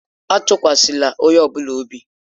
Atụkwasịla onye ọ bụla obi!